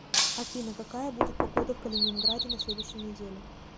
афина какая будет погода в калининграде на следующей неделе